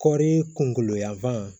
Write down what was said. Kɔɔri kunkolo yanfan